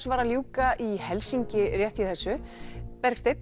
var að ljúka í Helsinki rétt í þessu Bergsteinn